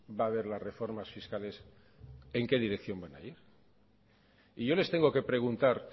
va a haber las reformas fiscales en qué dirección van a ir y yo les tengo que preguntar